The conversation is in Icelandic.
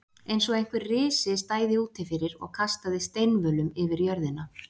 Eins og einhver risi stæði úti fyrir og kastaði steinvölum yfir jörðina.